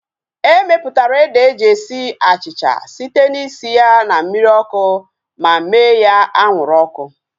Emeputara ede eji esi achịcha site na isi ya na mmiri ọkụ ma mee ya anwụrụ ọkụ